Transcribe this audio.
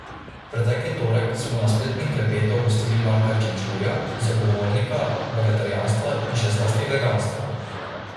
Pretekli torek smo na spletnem klepetu gostili Marka Čenčurja, zagovornika vegetarijanstva in še zlasti veganstva.